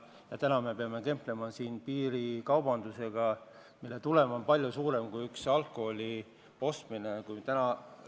Ja täna me peame kemplema piirikaubandusega, mille kahju on palju suurem kui Lätist üksnes alkoholi ostmise kahju.